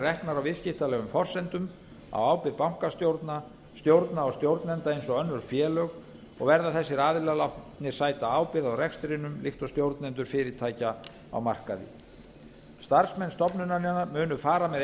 reknar á viðskiptalegum forsendum á ábyrgð bankastjórna stjórna og stjórnenda eins og önnur félög og verða þessir aðilar látnir sæta ábyrgð á rekstrinum líkt og stjórnendur fyrirtækja á markaði starfsmenn stofnunarinnar munu fara með